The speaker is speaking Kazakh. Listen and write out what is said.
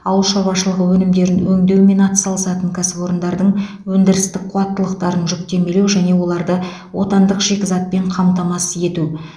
ауыл шаруашылығы өнімдерін өңдеумен атсалысатын кәсіпорындардың өндірістік қуаттылықтарын жүктемелеу және оларды отандық шикізатпен қамтамасыз ету